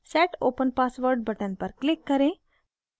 set open password button पर click करें